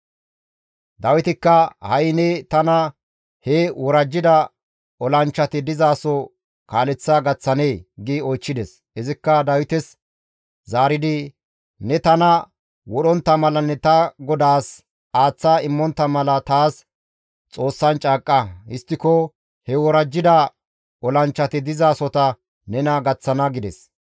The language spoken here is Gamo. Dawitikka, «Ha7i ne tana he worajjida olanchchati dizaso kaaleththa gaththanee?» gi oychchides. Izikka Dawites zaaridi, «Ne tana wodhontta malanne ta godaas aaththa immontta mala taas Xoossan caaqqa; histtiko he worajjida olanchchati dizasota ta nena gaththana» gides.